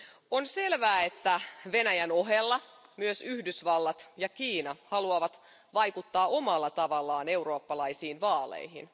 On selvää, että Venäjän ohella myös Yhdysvallat ja Kiina haluavat vaikuttaa omalla tavallaan eurooppalaisiin vaaleihin.